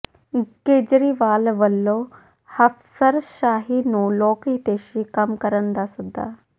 ਕੇਜਰੀਵਾਲ ਵੱਲੋਂ ਅਫ਼ਸਰਸ਼ਾਹੀ ਨੂੰ ਲੋਕ ਹਿਤੈਸ਼ੀ ਕੰਮ ਕਰਨ ਦਾ ਸੱਦਾ